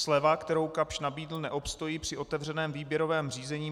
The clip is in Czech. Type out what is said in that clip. Sleva, kterou Kapsch nabídl, neobstojí při otevřeném výběrovém řízení.